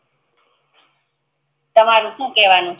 તમારે શું કેવાનું છે